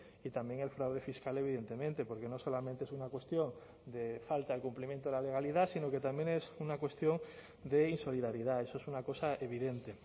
y también el fraude fiscal evidentemente porque no solamente es una cuestión de falta de cumplimiento de la legalidad sino que también es una cuestión de insolidaridad eso es una cosa evidente